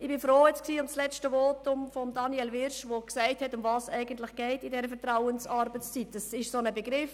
Ich bin froh um das Votum von Daniel Wyrsch, der gesagt hat, worum es bei dieser Vertrauensarbeitszeit eigentlich geht.